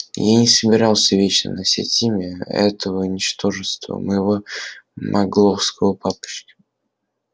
я и не собирался вечно носить имя этого ничтожества моего магловского папочки